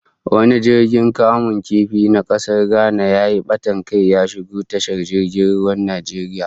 Wani jirgin kamun kifi na kasar Ghana yayi batan kai, ya shigo tashar jirgin ruwan Najeriya